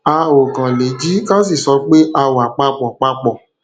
a ò kàn lè jí ká sì sọ pé a wà pa pọ wà pa pọ